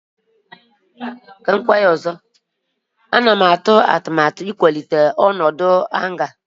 Ana m atụ atụmatụ ịkwalite ọnọdụ hanga akwa nhicha ahụ.